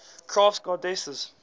crafts goddesses